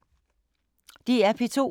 DR P2